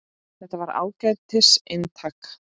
Þetta var ágætis eintak